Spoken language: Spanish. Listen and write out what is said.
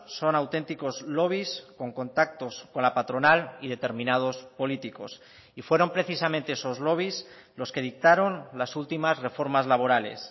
son auténticos lobbies con contactos con la patronal y determinados políticos y fueron precisamente esos lobbies los que dictaron las últimas reformas laborales